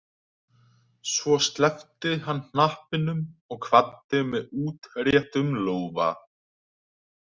Svo sleppti hann hnappinum og kvaddi með útréttum lófa.